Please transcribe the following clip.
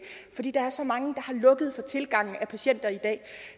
fordi der er så mange der har lukket for tilgang af patienter i dag